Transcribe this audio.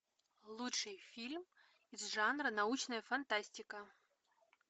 лучший фильм из жанра научная фантастика